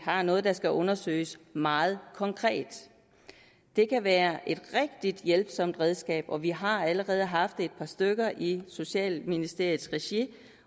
har noget der skal undersøges meget konkret det kan være et rigtig hjælpsomt redskab og vi har allerede haft et par stykker i socialministeriets regi